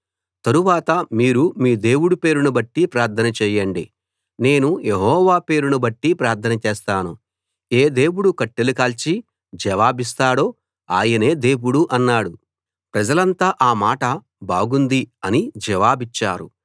తరువాత మీరు మీ దేవుడు పేరును బట్టి ప్రార్థన చేయండి నేను యెహోవా పేరును బట్టి ప్రార్థన చేస్తాను ఏ దేవుడు కట్టెలు కాల్చి జవాబిస్తాడో ఆయనే దేవుడు అన్నాడు ప్రజలంతా ఆ మాట బాగుంది అని జవాబిచ్చారు